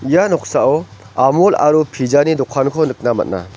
ia noksao amul aro pizza-ni dokanko nikna man·a.